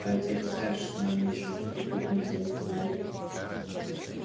а ведь они знают что нам нечем их припугнуть заметил генри